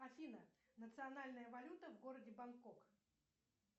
афина национальная валюта в городе бангкок